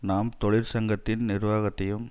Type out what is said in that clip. நாம் தொழிற் சங்கத்தின் நிர்வாகத்தையும்